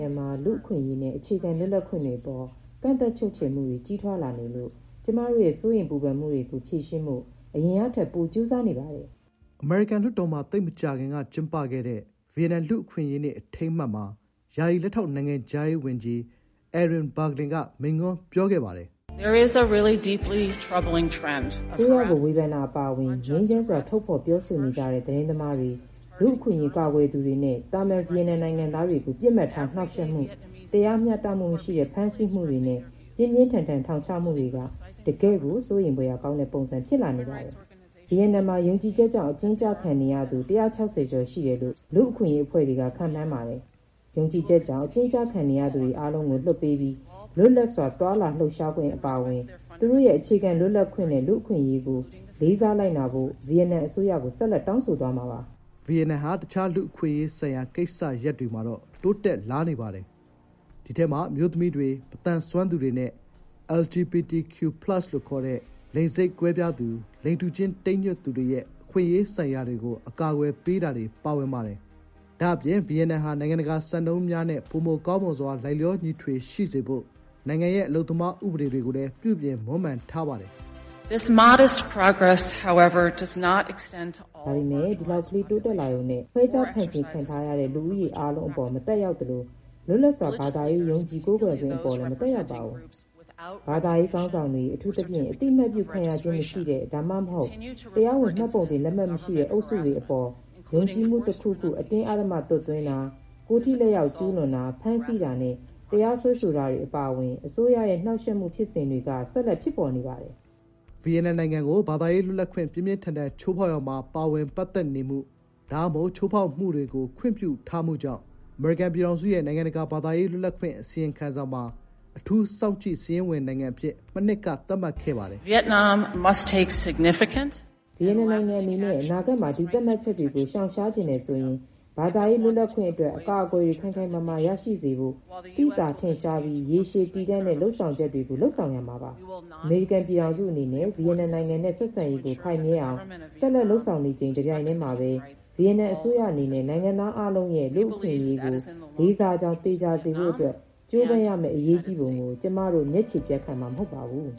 ငံမှာ လူ့အခွင့်အရေးနဲ့ အခြေခံလွတ်လပ်ခွင့်တွေအပေါ် ကန့်သတ်ချုပ်ချယ်မှုတွေ ကြီးထွားလာနေလို့ ကျွန်မတို့ရဲ့ စိုးရိမ်ပူပန်မှုတွေကို ဖြေရှင်းဖို့ အရင်ကထက် ပိုကြိုးစားနေပါတယ်။” အမေရိကန် လွှတ်တော်မှာ သိပ်မကြာခင်က ကျင်းပခဲ့တဲ့ ဗီယက်နမ်လူ့အခွင့်အရေးနေ့ အထိမ်းအမှတ်မှာ ယာယီလက်ထောက်နိုင်ငံခြားရေးဝန်ကြီး Erin Barclay က မိန့်ခွန်းပြောခဲ့ပါတယ်။ “အစိုးရကို ဝေဖန်တာအပါအဝင် ငြိမ်းချမ်းစွာ ထုတ်ဖော်ပြောဆိုနေကြတဲ့ သတင်းသမားတွေ၊ လူ့အခွင့်အရေး ကာကွယ်သူတွေနဲ့ သာမန် ဗီယက်နမ်နိုင်ငံသားတွေကို ပစ်မှတ်ထား နှောင့်ယှက်မှု၊ တရားမျှတမှုမရှိတဲ့ ဖမ်းဆီးမှုတွေနဲ့ ပြင်းပြင်းထန်ထန် ထောင်ချမှုတွေက တကယ့်ကို စိုးရိမ်ဖွယ်ရာ ကောင်းတဲ့ ပုံစံ ဖြစ်လာနေပါတယ်။” ဗီယက်နမ်မှာ ယုံကြည်ချက်ကြောင့် အကျဉ်းကျခံနေရသူ ၁၆၀ ကျော်ရှိတယ်လို့ လူ့အခွင့်အရေးအဖွဲ့တွေက ခန့်မှန်းပါတယ်။ “ယုံကြည်ချက်ကြောင့် အကျဉ်းကျခံနေရသူအားလုံးကို လွှတ်ပေးပြီး လွတ်လပ်စွာ လှုပ်ရှား သွားလာခွင့် အပါအဝင် သူတို့ရဲ့ အခြေခံလွတ်လပ်ခွင့်နဲ့ လူ့အခွင့်အရေးကို လေးစားလိုက်နာဖို့ ဗီယက်နမ် အစိုးရကို ဆက်လက် တောင်းဆိုသွားမှာ ဖြစ်ပါတယ်။” ဗီယက်နမ်နိင်ငံဟာ တခြား လူ့အခွင့်အရေးဆိုင်ရာ ကိစ္စရပ်တွေမှာတော့ တိုးတက်လာနေပါတယ်။ ဒီထဲမှာ အမျိုးသမီးတွေ၊ မသန်စွမ်းသူတွေနဲ့ LGBTIQ+ လို့ခေါ်တဲ့ လိင်စိတ်ကွဲပြားသူ၊ လိင်တူချင်း တိမ်းညွတ်သူတွေရဲ့ အခွင့်အရေးဆိုင်ရာတွေကို အကာအကွယ်ပေးတာတွေ ပါဝင်ပါတယ်။ ဒါ့အပြင် ဗီယက်နမ်ဟာ နိုင်ငံတကာစံနှုန်းများနဲ့ ပိုမိုကောင်းမွန်စွာ လိုက်လျောညီထွေရှိစေဖို့ နိုင်ငံရဲ့ အလုပ်သမားဥပဒေတွေကိုလည်း ပြုပြင်မွမ်းမံထားပါတယ်။ “ဒါပေမယ့် ဒီလောက်ကလေး တိုးတက်လာရုံနဲ့ ခွဲခြား ဖယ်ကျဉ် ခံထားရတဲ့ လူဦးရေအားလုံး အပေါ် မသက်ရောက်သလို လွတ်လပ်စွာ ဘာသာရေး ယုံကြည် ကိုးကွယ်ခွင့် အပေါ် လည်း မသက်ရောက်ပါဘူး။” “ဘာသာရေးခေါင်းဆောင်များ အထူးသဖြင့် အသိအမှတ် ပြုခံရခြင်း မရှိတဲ့ ဒါမှမဟုတ် တရားဝင် မှတ်ပုံတင် လက်မှတ်မရှိတဲ့ အုပ်စုဝင်တွေ အပေါ် ယုံကြည်မှု တခုခု အတင်းအဓမ္မ သွတ်သွင်းတာ၊ ကိုယ်ထိလက်ရောက် ကျူးလွန်တာ၊ ဖမ်းဆီးတာနဲ့ တရားစွဲဆိုတာတွေ အပါအဝင် အစိုးရရဲ့ နှောင့်ယှက်မှု ဖြစ်စဉ်တွေက ဆက်လက် ဖြစ်ပေါ် နေပါတယ်။ ဗီယက်နမ်နိုင်ငံကို ဘာသာရေးလွတ်လပ်ခွင့် ပြင်းပြင်းထန်ထန် ချိုးဖောက်ရာမှာ ပါဝင်ပတ်သက်နေမှု ဒါမှမဟုတ် ချိုးဖောက်မှုတွေကို ခွင့်ပြုထားမှုကြောင့် အမေရိကန်ပြည်ထောင်စုရဲ့ နိုင်ငံတကာ ဘာသာရေး လွတ်လပ်ခွင့် အစီရင်ခံစာမှာ အထူးစောင့်ကြည့်စာရင်းဝင်နိုင်ငံအဖြစ် မနှစ်က သတ်မှတ်ခဲ့ပါတယ်။ “ဗီယက်နမ်အနေနဲ့ အနာဂတ်မှာ ဒီသတ်မှတ်ချက်တွေကို ရှောင်ရှားချင်တယ်ဆိုရင် ဘာသာရေးလွတ်လပ်ခွင့်အတွက် အကာအကွယ်တွေ ခိုင်ခိုင်မာမာရရှိစေဖို့ သိသာထင်ရှားပြီးရေရှည်တည်တံ့တဲ့ လုပ်ဆောင်ချက်တွေကို လုပ်ဆောင်ရပါမယ်။” “အမေရိကန် ပြည်ထောင်စုအနေနဲ့ ဗီယက်နမ်နိုင်ငံနဲ့ ဆက်ဆံရေးကို ခိုင်မြဲအောင် ဆက်လက်လုပ်ဆောင်နေချိန် တပြိုင်တည်းမှာပဲ ဗီယက်နမ်အစိုးရအနေနဲ့ နိုင်ငံသားအားလုံးရဲ့ လူ့အခွင့်အရေးကို လေးစားကြောင်း သေချာစေဖို့အတွက် ကြိုးပမ်းရမယ့် အရေးကြီးပုံကို ကျွန်မတို့ မျက်ခြည်ပြတ်ခံ မှာမဟုတ်ပါဘူး